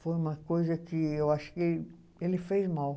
foi uma coisa que eu achei que ele fez mal.